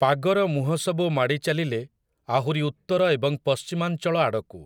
ପାଗର ମୁହଁସବୁ ମାଡ଼ିଚାଲିଲେ ଆହୁରି ଉତ୍ତର ଏବଂ ପଶ୍ଚିମାଞ୍ଚଳ ଆଡ଼କୁ ।